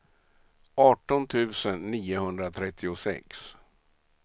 arton tusen niohundratrettiosex